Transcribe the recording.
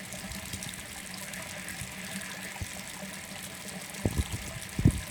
ũthûthurĩa wa borithi niwaanjitie ñĩũndũ wa ihaniki riri niwanjitie.